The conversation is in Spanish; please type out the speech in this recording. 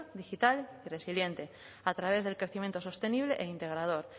digital y resiliente a través del crecimiento sostenible e integrador